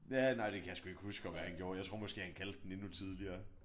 Ja nej det kan jeg sgu ikke huske om han gjorde. Jeg tror måske han kaldte den endnu tidligere